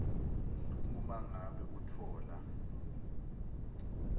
uma ngabe utfola